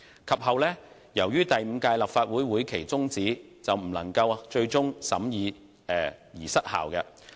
及後，由於第五屆立法會會期終止，有關條例草案最終因未獲審議而失效。